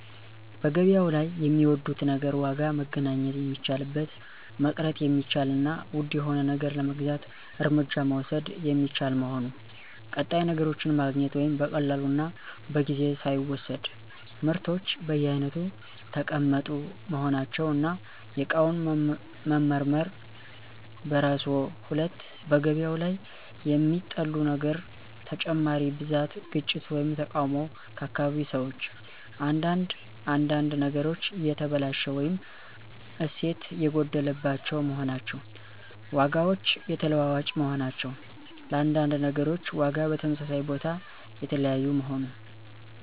1. በገበያው ላይ የሚወዱት ነገር ዋጋ መገናኘት የሚቻልበት፣ መቅረት የሚቻል እና ውድ የሆነ ነገር ለመግዛት እርምጃ መውሰድ የሚቻል መሆኑ። ቀጣይ ነገሮችን ማግኘት (በቀላሉ እና በጊዜ ሳይወሰድ)። ምርቶች በየአይነቱ ተቀመጡ መሆናቸው፣ እና የእቃውን መመርመር በራስዎ 2. በገበያው ላይ የሚጠሉት ነገር ተጨማሪ ብዛት፣ ግጭት ወይም ተቃውሞ ከአካባቢ ሰዎች። አንዳንድ አንዳንድ ነገሮች የተበላሸ ወይም እሴት የጐደለባቸው መሆናቸው። ዋጋዎች የተለዋዋጭ መሆናቸው፣ ለአንዳንድ ነገሮች ዋጋ በተመሳሳይ ቦታ የተለያዩ መሆኑ።